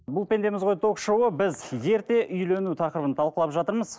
бұл пендеміз ғой ток шоуы біз ерте үйлену тақырыбын талқылап жатырмыз